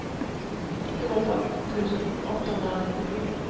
tjugoåtta tusen åttahundranittiosju